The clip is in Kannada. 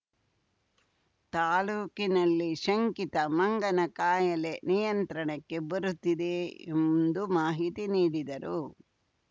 ತಾಲೂಕಿನಲ್ಲಿ ಶಂಕಿತ ಮಂಗನ ಕಾಯಿಲೆ ನಿಯಂತ್ರಣಕ್ಕೆ ಬರುತ್ತಿದೆ ಎಂದು ಮಾಹಿತಿ ನೀಡಿದರು